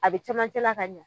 A be camancɛla ka ɲɛ